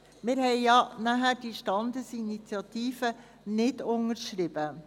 Wir haben ja dann diese Standesinitiative nicht unterschrieben.